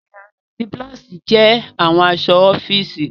yẹrí àti blouse jẹ awọn aṣọ ọfiisi.